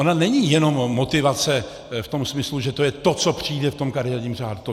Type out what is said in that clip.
Ona není jenom motivace v tom smyslu, že to je to, co přijde v tom kariérním řádu.